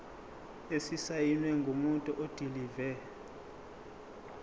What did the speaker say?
esisayinwe ngumuntu odilive